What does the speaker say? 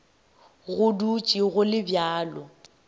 go dutše go le bjalo